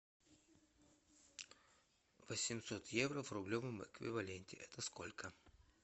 восемьсот евро в рублевом эквиваленте это сколько